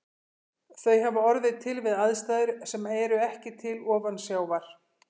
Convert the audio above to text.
Þau hafa orðið til við aðstæður sem eru ekki til ofansjávar.